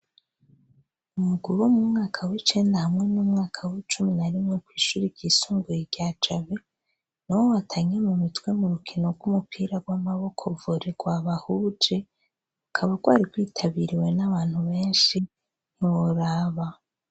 Umuguruwo mu mwaka w'icena hamwe n'umwaka w'icumi na rimwe kw'ishuri ryisunguye rya jabe, ni we watangye mu mitwe mu rukeno rw'umupira rw'amaboko vure rwa bahuje ukaba rwari rwitabiriwe n'abantu benshi ntiworaba.